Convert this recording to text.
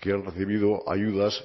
que han recibido ayudas